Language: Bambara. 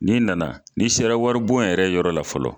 N'i nana n'i sera waribon yɛrɛ yɔrɔ la fɔlɔ.